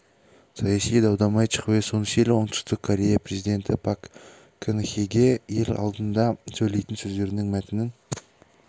саяси дау-дамай чхве сун силь оңтүстік корея президенті пак кын хеге ел алдында сөйлейтін сөздерінің мәтінін